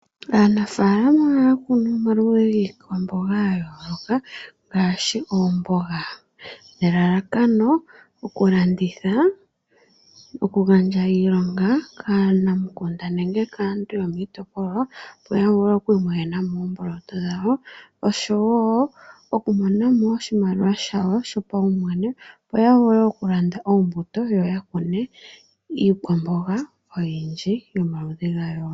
Aanafalama ohaya kunu omaludhi giikwamboga ga yooloka ngaashi oomboga nelalakano oku landitha, oku gandja iilonga kaanamukunda nenge kaantu yomoshitopolwa yo ya vule oku mona mo omboloto dhawo oshowo oshimaliwa shayo shpaumwene yo ya vule oku landa oombuto yo ya kune iikwamboga oyindji yomaludhi ga yooloka.